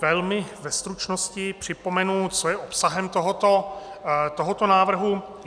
Velmi ve stručnosti připomenu, co je obsahem tohoto návrhu.